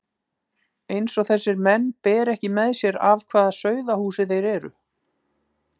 Eins og þessir menn beri ekki með sér af hvaða sauðahúsi þeir eru!